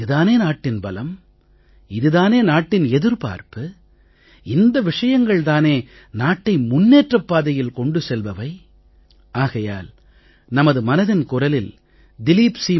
இது தானே நாட்டின் பலம் இது தானே நாட்டின் எதிர்பார்ப்பு இந்த விஷயங்கள் தானே நாட்டை முன்னேற்றப் பாதையில் கொண்டு செல்பவை ஆகையால் நமது மனதின் குரலில் திலீப் சி